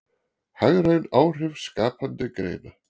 Hagræn áhrif skapandi greina